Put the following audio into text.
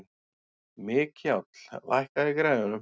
Mikjáll, lækkaðu í græjunum.